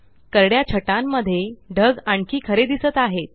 करड्या छटांनमध्ये ढग आणखी खरे दिसत आहेत